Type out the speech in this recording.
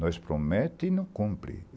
Nós promete e não cumpre.